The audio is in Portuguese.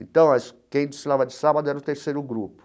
Então, quem desfilava de sábado era o terceiro grupo.